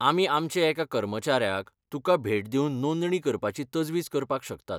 आमी आमचे एका कर्मचाऱ्याक तुका भेट दिवन नोंदणी करपाची तजवीज करपाक शकतात.